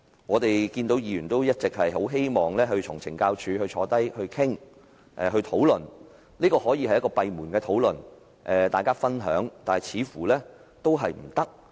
我們議員一直很希望與懲教署官員坐下來討論，也可以閉門討論和分享，但似乎仍然行不通。